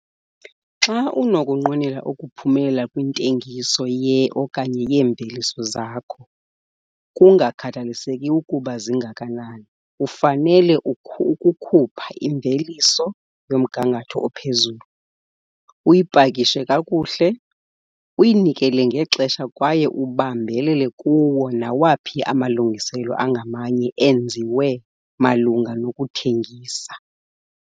Xa unokunqwenela ukuphumelela kwintengiso ye okanye yeemveliso zakho - kungakhathaliseki ukuba zingakanani, ufanele ukukhupha imveliso yomgangatho ophezulu, uyipakishe kakuhle, uyinikele ngexesha kwaye ubambelele kuwo nawaphi amalungiselelo angamanye enziwe malunga nokuthengisa.